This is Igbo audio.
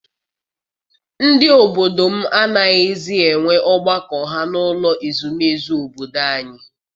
Ndị obodo m anaghịzi enwe ọgbakọ ha n’ụlọ ezumezu obodo anyị.